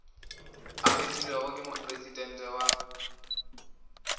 a kgethilwego ke mopresidente wa